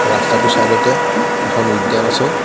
ৰস্তাটোৰ চাইদ তে এখন উদ্যান আছে.